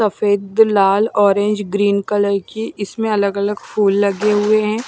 सफेद लाल orange green colour की इसमें अलग अलग फूल लगे हुए हैं।